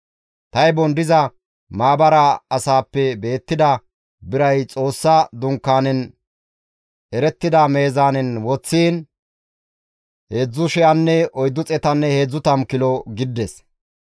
Taybon diza maabara asaappe beettida biray Xoossa Dunkaanen erettida meezaanen woththiin 3,430 kilo gidides.